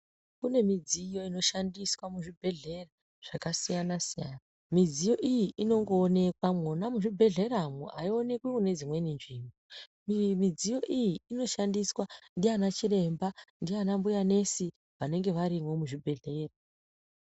Kune midziyo inoshandiswa muzvibhedhlera zvakasiyana siyana, midziyo iyi inongowanikwa muzvibhedhlera aiwanikwi kune dzimweni nzvimbo. Midziyo iyi inongoshandiswa ndiana chiremba nana mbuya nesi vanenge varimo muzvibhedhlera.